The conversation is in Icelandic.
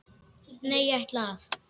Nei, ég ætla að.